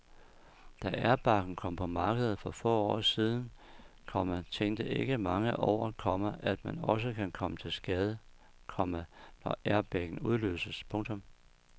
Da airbagen kom på markedet for få år siden, komma tænkte ikke mange over, komma at man også kan komme til skade, komma når airbagen udløses. punktum